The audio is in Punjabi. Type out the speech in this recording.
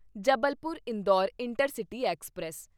Jabalpur Indore intercity express